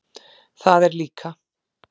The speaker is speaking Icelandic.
Það er líka.